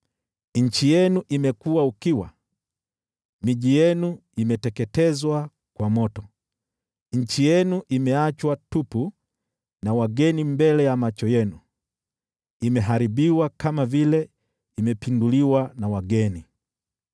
Nchi yenu imekuwa ukiwa, miji yenu imeteketezwa kwa moto; nchi yenu imeachwa tupu na wageni mbele ya macho yenu, imeharibiwa kama vile imepinduliwa na wageni.